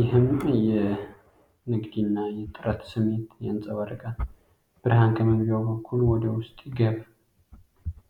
ይህም የንግድ እና የጥረት ስሜትን ያንጸባርቃል። ብርሃን ከመግቢያው በኩል ወደ ውስጥ ይገባል።